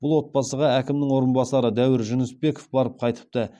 бұл отбасыға әкімнің орынбасары дәуір жүнісбеков барып қайтыпты